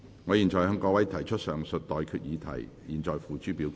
我現在向各位提出上述待決議題，付諸表決。